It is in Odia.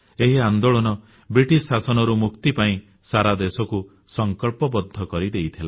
ଏହି ଆନ୍ଦୋଳନ ବ୍ରିଟିଶ ଶାସନରୁ ମୁକ୍ତି ପାଇଁ ସାରା ଦେଶକୁ ସଂକଳ୍ପବଦ୍ଧ କରିଦେଇଥିଲା